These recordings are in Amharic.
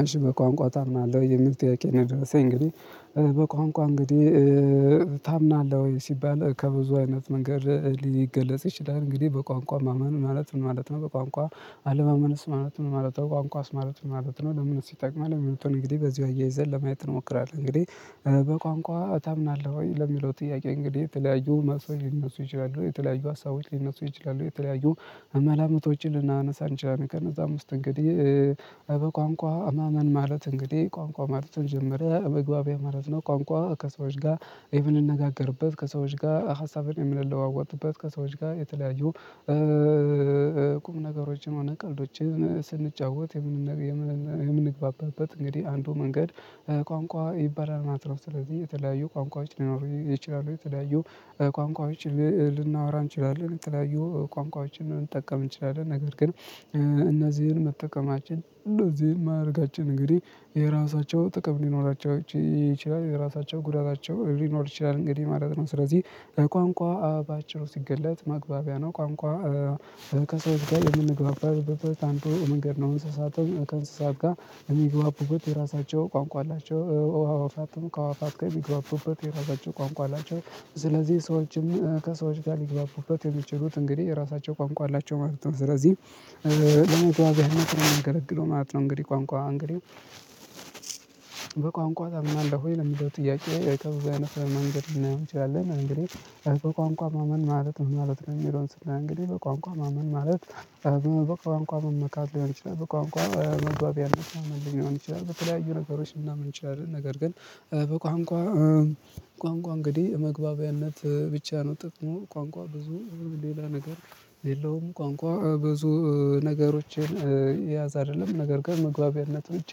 አሽ በቋንቋ ታምናለህ የሚል ቴኬን ድረስ እንግዲህ በቋንቋ እንግዲህ ታምናለህ ወይ? ሲባል ከብዙ አይነት መንገድ ሊገለጽ ይችላል እንግዲህ በቋንቋ ማመን ማለት ማለት ነው። በቋንቋ አለማመነስ ማለት ነው ማለት ነው። ቋንቋስ ማለት ነው ለምንድነው? ሲጠቅም የሚለውን እንግዲህ በዚሁ አያይዘን ለማየት እንሞክራለን። እንግዲህ በቋንቋ ታምናለህ ወይ ለሚለው ጥያቄ እንግዲህ የተለያዩ ማስወይ ይነሱ ይችላሉ የተለያዩ ሊነሱ ይችላሉ የተለያዩ መላመቶችን ልናነሳ እንችላለን። ከነዛ ውስጥ እንግዲህ በቋንቋ አማመን ማለት እንግዲህ ቋንቋ ማለትም ጀመረ መግባቢያ ማለት ነው። ቋንቋ ከሰዎች ጋር የምንነጋገርበት ከሰዎች ጋር ሀሳብን የምንለዋወጥበት ከሰዎች ጋር የተለያዩ ቁም ነገሮችን ማነው ቀልዶችን ስንጫወት የምንግባበት እንግዲህ አንዱ መንገድ ቋንቋ ይባላል። ማለት ነው ስለዚህ የተለያዩ ቋንቋዎች ሊኖሩ ይችላሉ። የተለያዩ ቋንቋዎችን ልናወራ እንችላለን ትላዩ ቋንቋዎችን ልንጠቀም እንችላለን። ነገር ግን እነዚህን መጠቀማችን እነዚህን የማያደርጋችን እንግዲህ የራሳቸው ጥቅም እንዲኖራቸው ይችላል። የራሳቸው ጉዳታቸው ሊኖር ይችላል። እንግዲህ ማለት ነው። ስለዚህ ከቋንቋ በአጭር ሲገለጥ ማግቢያ ነው። ቋንቋ ከሰው ጋር የምንግባባል በቃ አንተ የመንገድ ነው እንስሳትም ከእንስሳት ጋር የሚግባበት የራሳቸው ቋንቋ አላቸው። አዋፋትም ከአዋፋት የሚግባቡበት የራሳቸው ቋንቋ አላቸው። ስለዚህ ሰዎችም ከሰዎች ጋር ሊግባቡበት የሚችሉት እንግዲህ የራሳቸው ቋንቋ አላቸው ማለት ነው። ስለዚህ ለመግባት ያህል ስራ የሚገለግለው ማለት ነው። እንግዲህ ቋንቋ እንግዲህ በቋንቋ ታምናለህ ወይ? ለምንድነው ጥያቄ ወይ ከብዙ አይነት ለመንገድ ብናየው እንችላለን። እንግዲህ አልበቃ ቋንቋ ማመን ማለት ነው። ማለት ነው የሚለውን ስላልን እንግዲህ በቋንቋ ማመን ማለት በቋንቋ መመካድ ሊሆን ይችላል። በቋንቋ መግባቢያነት መሆን ይችላል። በተለያዩ ነገሮች ምናምን እንችላለን ነገር ግን በቋንቋ ቋንቋ እንግዲህ የመግባቢያነት ብቻ ነው። ጥቅሙ ቋንቋ ብዙ ሌላ ነገር የለውም። ቋንቋ ብዙ ነገሮችን ያዝ አይደለም ነገር ጋር መግባቢያነት ብቻ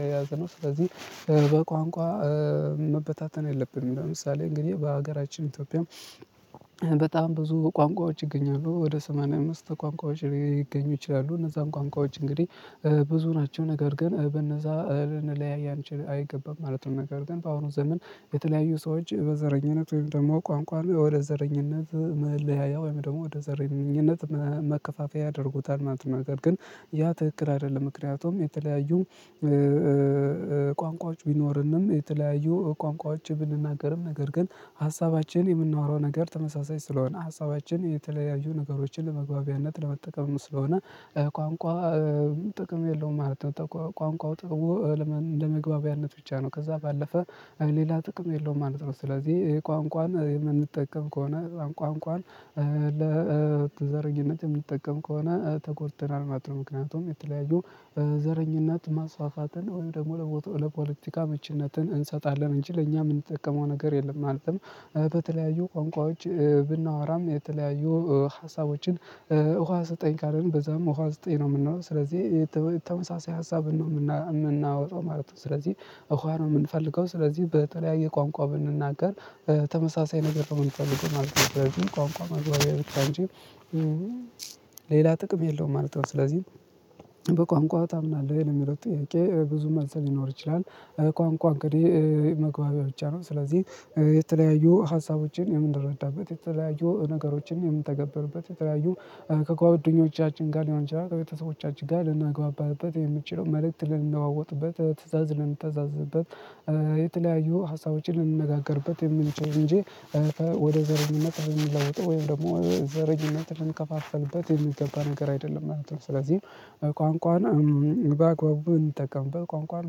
የያዘ ነው። ስለዚህ በቋንቋ መበታተን የለብንም። ለምሳሌ እንግዲህ በሀገራችን ኢትዮጵያም በጣም ብዙ ቋንቋዎች ይገኛሉ። ወደ ሰማንያ አምስት ቋንቋዎች ላይ ይገኙ ይችላሉ። እነዛን ቋንቋዎች እንግዲህ ብዙ ናቸው ነገር ግን በነዛ ልንለያይ አንችል አይገባም ማለት ነው። ነገር ግን በአሁኑ ዘመን የተለያዩ ሰዎች በዘረኝነት ወይም ደግሞ ቋንቋ ወደ ዘረኝነት መለያያ ወይም ደግሞ ወደ ዘርኝነት መከፋፈያ ያደርጉታል ማለት ነው። ነገር ግን ያ ትክክል አይደለም። ምክንያቱም የተለያዩ ቋንቋዎች ቢኖርንም ቢኖሩንም የተለያዩ ቋንቋዎች ብንናገርም ነገር ግን ሀሳባችን የምንዋረው ነገር ተመሳሳይ ስለሆነ ሀሳባችን የተለያዩ ነገሮችን ለመግባቢያነት ለመጠቀም ስለሆነ ቋንቋ ጥቅም የለውም ማለት ነው። ቋንቋው ጥቅም ለመግባቢያነት ብቻ ነው። ከዛ ባለፈ ሌላ ጥቅም የለውም ማለት ነው። ስለዚህ የቋንቋን የምንጠቀም ከሆነ ቋንቋን ለተዘረጊነት የምትጠቀም ከሆነ ተኮርተናል ማጥኖ ምክንያቱም የተለያዩ ዘረኝነት ማስፋፋትን ወይም ደግሞ ለፎቶ ለፖለቲካ ምችነትን እንሰጣለን እንችል እኛ የምንጠቀመው ነገር የለም። ማለትም በተለያዩ ቋንቋዎች ብናወራም የተለያዩ ሀሳቦችን ውሃ ስጠኝ ካልን በዛም ውሃ ስጠኝ ነው የምንለው ስለዚህ የተመሳሰይ ሀሳብ ነው የምናወጣው ማለት ነው። ስለዚህ ውሃ ነው የምንፈልገው ስለዚህ በጠለያዬ ቋንቋ ብንናገር ተመሳሳይ ነገር ከምንፈልገው ማለት ነው። ቋንቋ ማግባቢያ ልክ አንቺ ሌላ ጥቅም የለውም ማለት ነው። ስለዚህ በቋንቋው ታምናለህ የሚለው ጥያቄ ብዙ መልሰህ ሊኖር ይችላል። ቋንቋ እንግዲህ መግባቢያ ብቻ ነው። ስለዚህ የተለያዩ ሀሳቦችን የምንረዳበት የተለያዩ ነገሮችን የምንተገብርበት የተለያዩ ከጓደኞቻችን ጋር ሊሆን ይችላል። ከቤተሰቦቻችን ጋር ልናግባባበት የምችለው መልእክት ልንወውጥበት ትእዛዝ ልንተዛዝበት። የተለያዩ ሀሳቦችን እንነጋገርበት የምንችል እንጂ ወደ ዘርምነት ብንለውጥ ወይም ደግሞ ዘረኝነት ብንከፋፈልበት የሚገባ ነገር አይደለም ማለት ነው። ስለዚህ ቋንቋን በአግባቡ እንጠቀምበት ቋንቋን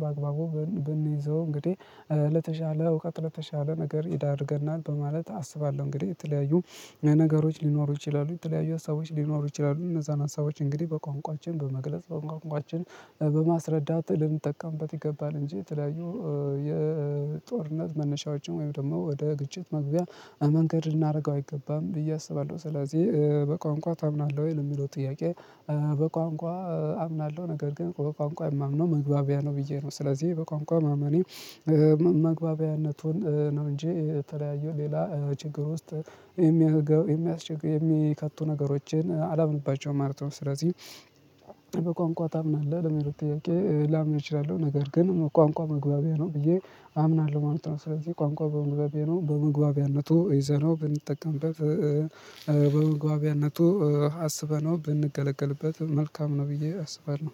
በአግባቡ ብንይዘው እንግዲህ ለተሻለ እውቀት ለተሻለ ነገር ይዳርገናል በማለት አስባለሁ። እንግዲህ የተለያዩ ነገሮች ሊኖሩ ይችላሉ የተለያዩ ሀሳቦች ሊኖሩ ይችላሉ። እነዛን ሀሳቦች እንግዲህ በቋንቋችን በመግለጽ በቋንቋችን በማስረዳት ልንጠቀምበት ይገባል። እንጂ የተለያዩ የጦርነት መነሻዎችን ወይም ደግሞ ወደ ግጭት መግቢያ መንገድ እናደርገው አይገባም ብዬ አስባለሁ። ስለዚህ በቋንቋ አምናለሁ ወይ የሚለው ጥያቄ? በቋንቋ አምናለሁ ነገር ግን በቋንቋ የማምነው መግባቢያ ነው። ብዬ ነው ስለዚህ በቋንቋ መመኔ መግባቢያነቱን ነው እንጂ የተለያዩ ሌላ ችግር ውስጥ የሚያስችግር የሚከቱ ነገሮችን አላምንባቸውም ማለት ነው። ስለዚህ በቋንቋ ታምናለህ ለመሆን ጥያቄ ላምር እችላለሁ። ነገር ግን ቋንቋ መግባቢያ ነው ብዬ አምናለሁ ማለት ነው። ስለዚህ ቋንቋ በመግባቢያ ነው በመግባቢያነቱ ይዘነው ብንጠቀምበት በምግባቢያነቱ አስበነው ብንገለገልበት መልካም ነው። ብዬ አስባለሁ።